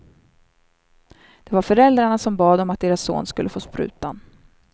Det var föräldrarna som bad om att deras son skulle få sprutan.